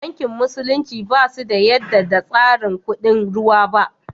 Banki musulunci ba su yadda da tsarin kuɗin ruwa ba